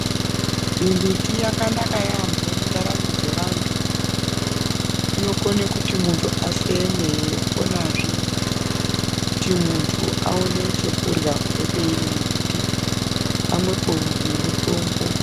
Mimbiti yakanaka yambo mundaramo dzevantu, inokone kuti muntu afeme, yokonazve kuti muntu awone chekurya kubve peiri mimbiti, pamwepo nemitombo.